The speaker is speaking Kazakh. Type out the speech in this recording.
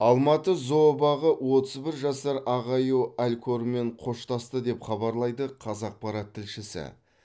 алматы зообағы отыз бір жасар ақ аю алькормен қоштасты деп хабарлайды қазақпарат тілшісі